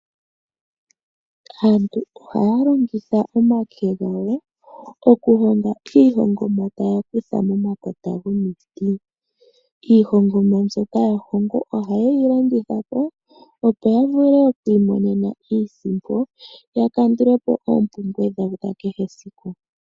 Aantu ohaya longitha omake gawo okuhonga iihongomwa taya kutha momakota gomiti. Iihongomwa mbyoka taya hongo ohaye yi landitha po opo ya vule okwiimonena iisimpo ya kandule po oompumbwe dhawo dha kehe esiku.